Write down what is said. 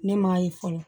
Ne m'a ye fɔlɔ